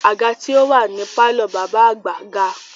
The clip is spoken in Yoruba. Àga tí ó wà ní pàlọ́ bàbá àgbà ga